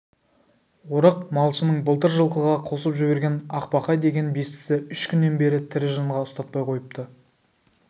орақ малшының былтыр жылқыға қосып жіберген ақбақай деген бестісі үш күннен бері тірі жанға ұстатпай қойыпты